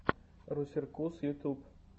русеркус ютуб